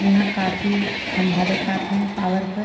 इहाँ काफी खम्भा दिखात हैं पावर क।